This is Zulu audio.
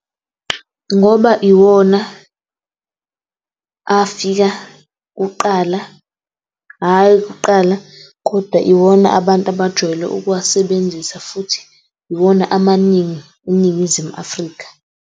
Ngoba iwona afika kuqala, hayi kuqala kodwa iwona abantu abajwayele ukuwasebenzisa, futhi iwona eNingizimu Afrika.